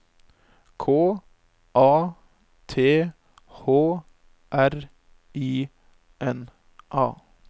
K A T H R I N A